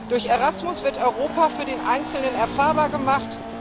Durch Erasmus wird Europa für den Einzelnen erfahrbar gemacht.